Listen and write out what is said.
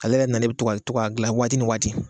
Ale yɛrɛ nanen bi to ka to ka gilan waati ni waati